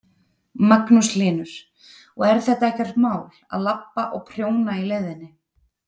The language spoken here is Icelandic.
Magnús Hlynur: Og er þetta ekkert mál, að labba og prjóna í leiðinni?